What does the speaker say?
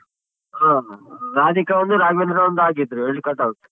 ಹ ರಾಧಿಕಾ ಒಂದು ರಾಘವೇಂದ್ರ ಒಂದ್ ಹಾಕಿದ್ರು ಎರ್ಡ್ cut out.